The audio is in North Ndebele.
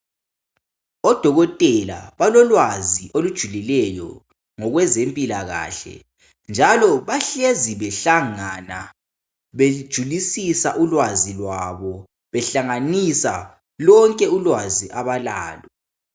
Odokotela balolwazi olujulileyo ngokwezempilakahle, njalo bahlezi behlangana bejulisisa ulwazi lwabo behlanganisa lonke ulwazi abalalo.